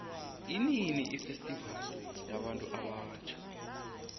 inini ifestivali yabuntu abatjha